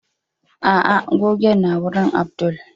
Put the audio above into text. ah ah gogen nawurin Abdul